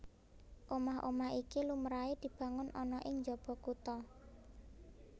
Omah omah iki lumrahé dibangun ana ing njaba kutha